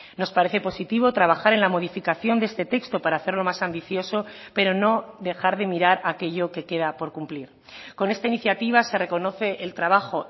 nos parece positivo trabajar en la modificación de este texto para hacerlo más ambicioso pero no dejar de mirar aquello que queda por cumplir con esta iniciativa se reconoce el trabajo